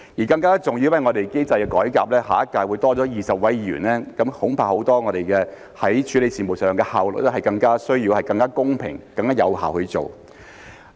更加重要的是，因為機制的改革，下屆會多了20名議員，我們處理很多事務上的效率，恐怕是需要更加公平、更加有效地去做。